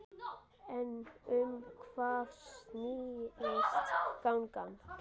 En um hvað snýst gangan?